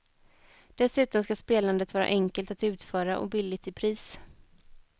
Dessutom ska spelandet vara enkelt att utföra och billigt i pris.